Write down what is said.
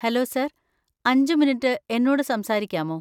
Hello sir, അഞ്ച്‌ minute എന്നോട് സംസാരിക്കാമോ?